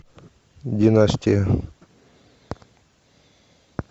династия